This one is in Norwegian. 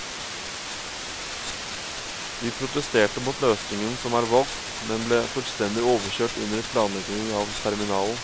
Vi protesterte mot løsningen som er valgt, men ble fullstendig overkjørt under planleggingen av terminalen.